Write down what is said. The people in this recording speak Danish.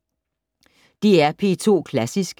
DR P2 Klassisk